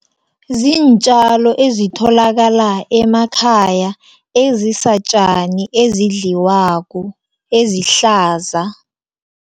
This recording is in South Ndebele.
Ziintjalo ezitholakala emakhaya, ezisatjani ezidliwako, ezihlaza.